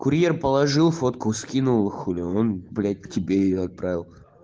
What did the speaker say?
курьер положил фотку скинул хули он блять тебе её отправил